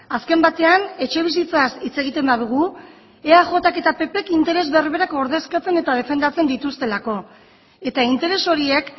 azken batean etxebizitzaz hitz egiten badugu eajk eta ppk interes berberak ordezkatzen eta defendatzen dituztelako eta interes horiek